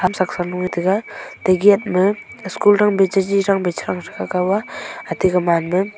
saksa lo tega ti gate ma school tang phai cha chi chang ka kow aa atiku man naa--